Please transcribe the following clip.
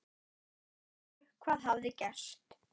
Allir vissu hvað hafði gerst.